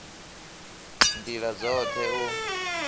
nd ila dzot he u